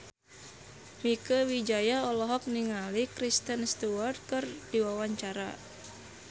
Mieke Wijaya olohok ningali Kristen Stewart keur diwawancara